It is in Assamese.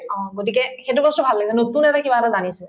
অ, গতিকে সেইটো বস্তু ভাল লাগিছে নতুন এটা কিবা এটা জানিছো